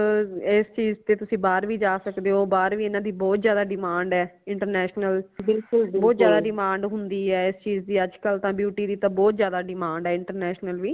ਇਸ ਚੀਜ਼ ਤੇ ਬਾਹਰ ਵੀ ਜਾ ਸਕਦੇ ਹੋ ਬਾਹਰ ਵੀ ਇਨਾ ਦੀ ਬਹੁਤ ਜ਼ਿਆਦਾ demand ਹੈ international ਬਹੁਤ ਜ਼ਿਆਦਾ demand ਹੁੰਦੀ ਹੈ ਇਸ ਚੀਜ਼ ਦੀ ਅਜ ਕਲ ਤਾ beauty ਦੀ ਤਾ ਬਹੁਤ ਜ਼ਿਆਦਾ demand ਹੈ international ਵੀ